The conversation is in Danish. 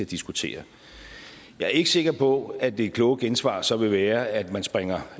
diskutere jeg er ikke sikker på at det kloge gensvar så vil være at man springer